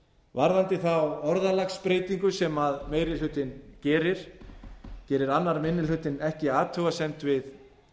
varðandi þá orðalagsbreytingu sem meiri hlutinn gerir gerir annar minni hluti ekki athugasemd við